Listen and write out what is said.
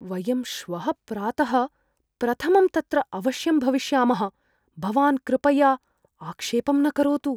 वयं श्वः प्रातः प्रथमं तत्र अवश्यं भविष्यामः, भवान् कृपया आक्षेपं न करोतु।